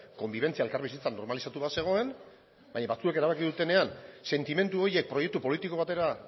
konbibentzia elkarbizitza normalizatu bat zegoen baina batzuek erabaki dutenean sentimendu horiek proiektu politiko batera